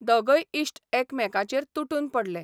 दोगय इश्ट एकमेकांचेर तुटून पडले.